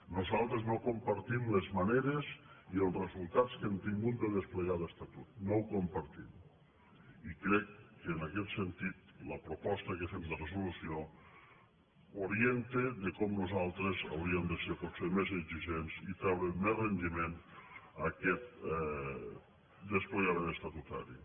nosaltres no compartim les maneres i els resultats que hem tingut de desplegar l’estatut no ho compartim i crec que en aquest sentit la proposta que fem de resolució orienta de com nosaltres hauríem de ser potser més exigents i treure més rendiment d’aquest desplegament estatutari